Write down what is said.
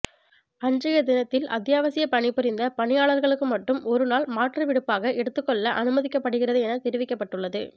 அன்றைய தினத்தில் அத்தியாவசிய பணிபுரிந்த பணியாளர்களுக்கு மட்டும் ஒரு நாள் மாற்று விடுப்பாக எடுத்துக் கொள்ள அனுமதிக்கப்படுகிறது எனத்தெரிவிக்கப்பட்டுள்ளது